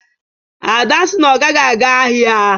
ada sị na ọ gaghị aga ahịa